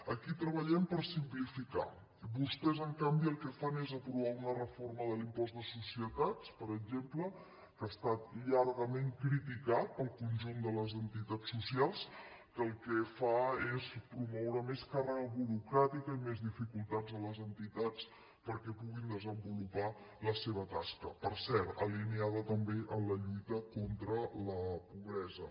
aquí treballem per simplificar i vostès en canvi el que fan és aprovar una reforma de l’impost de societats per exemple que ha estat llargament criticat pel conjunt de les entitats socials que el que fa és promoure més càrrega burocràtica i més dificultats a les entitats perquè puguin desenvolupar la seva tasca per cert alineada també amb la lluita contra la pobresa